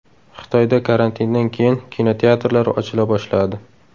Xitoyda karantindan keyin kinoteatrlar ochila boshladi.